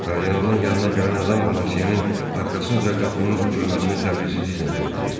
Kardinalın yanına gələn adam Bonasyenin arxasınca qapının örtülməsini səbirsizliklə gözləyirdi.